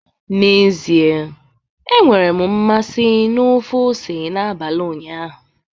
N'ezie, enwere m mmasị na ofe ose n'abalị ụnyaahụ